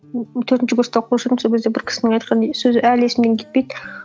төртінші курста оқып жүрдім сол кезде бір кісінің айтқан е сөзі әлі есімнен кетпейді